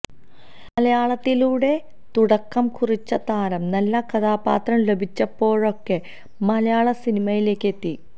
മലയാളത്തിലൂടെ തുടക്കം കുറിച്ച താരം നല്ല കഥാപാത്രം ലഭിച്ചപ്പോഴൊക്കെ മലയാള സിനിമയിലേക്ക് എത്തി